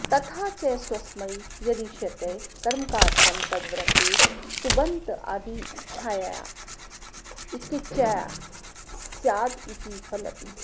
तथा च स्वस्मै यदिष्यते कर्मकारकं तद्वृत्तेः सुबन्तादिच्छायां क्यज्वा स्यादिति फलति